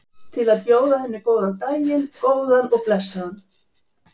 Til að bjóða henni daginn, góðan og blessaðan.